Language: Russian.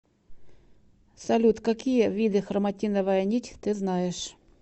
салют какие виды хроматиновая нить ты знаешь